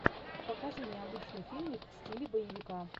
покажи необычный фильмик в стиле боевика